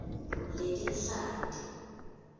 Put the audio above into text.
letinhlanti